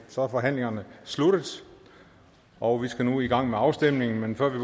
forhandlingen sluttet og vi skal nu i gang med afstemningen men før vi